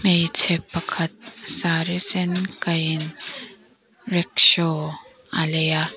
hmeichhe pakhat saree sen kaihin rickshaw a lei a.